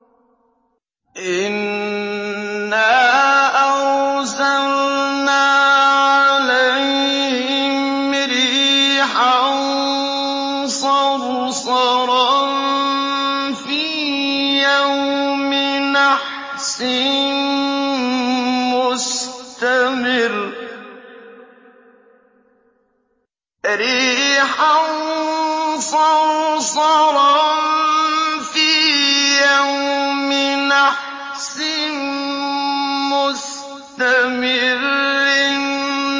إِنَّا أَرْسَلْنَا عَلَيْهِمْ رِيحًا صَرْصَرًا فِي يَوْمِ نَحْسٍ مُّسْتَمِرٍّ